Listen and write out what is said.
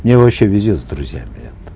мне вообще везет с друзьями это